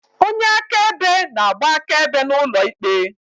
Onye akaebe na-agba akaebe n'ụlọ ikpe.